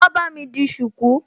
Wá bámi di ṣùkú!